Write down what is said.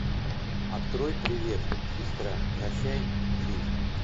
открой привет сестра прощай жизнь